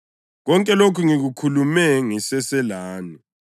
Konke lokhu ngikukhulume ngiseselani.